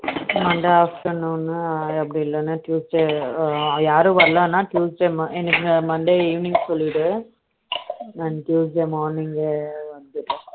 Monday option ஒன்னு அப்படி இல்லைனா Tuesday யாரும் வரலைனா Tuesday எனக்கு Monday evening சொல்லிரு நான் Tuesday morning ஏய் வந்துறேன்